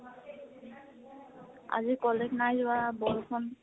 আজি college নাই যোৱা, বৰষুণ ।